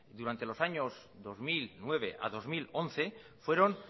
durante los años dos mil nueve a dos mil once fueron